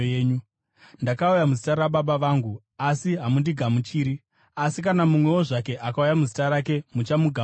Ndakauya muzita raBaba vangu, asi hamundigamuchiri; asi kana mumwewo zvake akauya muzita rake, muchamugamuchira.